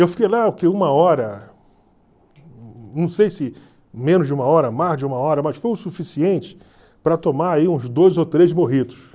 Eu fiquei lá, o quê? Uma hora, não sei se menos de uma hora, mais de uma hora, mas foi o suficiente para tomar uns dois ou três mojitos.